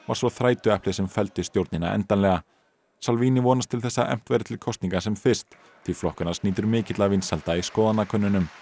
svo þrætueplið sem felldi stjórnina endanlega vonast til að efnt verði til kosninga sem fyrst því flokkur hans nýtur mikilla vinsælda í skoðanakönnunum